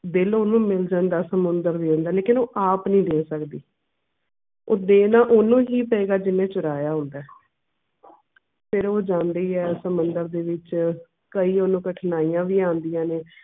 ਸਮੁੰਦਰ ਦੇ ਦਿੰਦਾ ਐ ਮੈਂ ਕਿਹਾ ਤੂੰ ਆਪ ਨੀ ਦੇ ਸਕਦੀ ਉਹ ਦੇਣਾ ਓਹਨੂੰ ਹੀ ਪਏਗਾ ਜਿਹਨੇ ਚੁਰਾਇਆ ਹੁੰਦਾ ਐ ਫੇਰ ਉਹ ਜਾਂਦੀ ਐ ਸਮੁੰਦਰ ਦੇ ਵਿਚ ਕਈ ਓਹਨੂੰ ਕਠਿਨਾਈਆਂ ਵੀ ਆਉਂਦੀਆਂ ਨੇ